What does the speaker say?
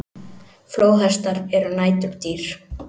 Flóðhestar eru næturdýr.